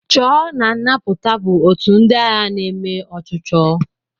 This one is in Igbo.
Chọọ na nnapụta bụ ótù ndị agha na-eme ọchụchọ.